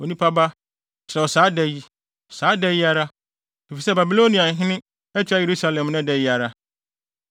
“Onipa ba, kyerɛw saa da yi, saa da yi ara, efisɛ Babiloniahene atua Yerusalem nnɛ da yi ara.